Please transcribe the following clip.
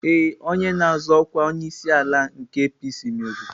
Ee, onye na-azọ ọkwa onyeisiala nke APC meriri.